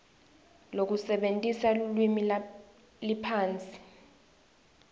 lekusebentisa lulwimi liphasi